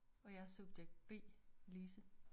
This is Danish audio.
Og jeg er subjekt B Lise